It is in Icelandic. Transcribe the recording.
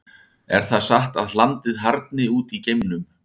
Er það satt að hlandið harðni út í geimnum?